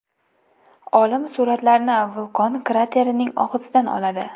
Olim suratlarni vulqon kraterlarining og‘zida oladi.